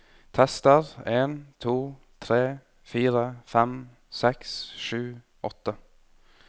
Tester en to tre fire fem seks sju åtte